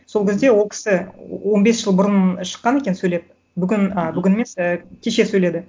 сол кезде ол кісі он бес жыл бұрын шыққан екен сөйлеп бүгін ы бүгін емес і кеше сөйледі